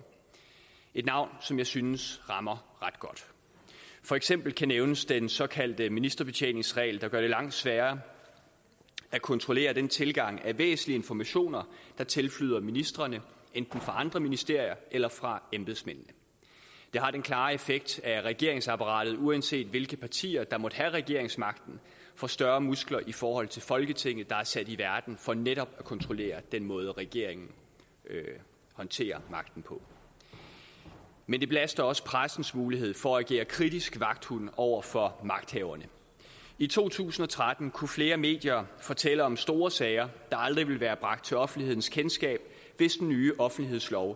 et navn som jeg synes rammer ret godt for eksempel kan nævnes den såkaldte ministerbetjeningsregel der gør det langt sværere at kontrollere den tilgang af væsentlige informationer der tilflyder ministrene enten fra andre ministerier eller fra embedsmændene det har den klare effekt at regeringsapparatet uanset hvilke partier der måtte have regeringsmagten får større muskler i forhold til folketinget der er sat i verden for netop at kontrollere den måde regeringen håndterer magten på men det belaster også pressens mulighed for at agere kritisk vagthund over for magthaverne i to tusind og tretten kunne flere medier fortælle om store sager der aldrig ville være bragt til offentlighedens kendskab hvis den nye offentlighedslov